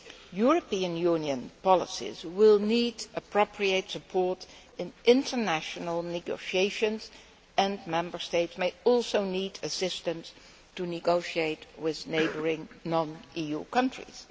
European Union policies will need appropriate support in international negotiations and Member States may also need assistance to negotiate with neighbouring non EU countries.